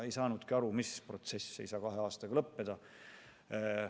Ei saanudki aru, mis protsess ei saa kahe aastaga lõppeda.